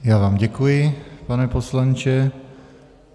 Já vám děkuji, pane poslanče.